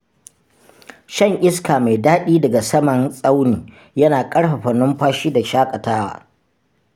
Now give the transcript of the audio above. Shan iska mai daɗi daga saman tsauni yana ƙarfafa numfashi da shaƙatawa.